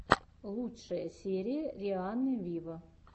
лучшая серия рианны виво